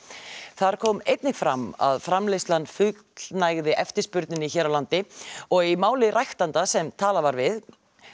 þar kom einnig fram að framleiðslan fullnægði eftirspurninni hér á landi og í máli ræktanda sem talað var við